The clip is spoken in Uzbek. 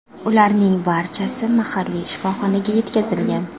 Ularning barchasi mahalliy shifoxonaga yetkazilgan.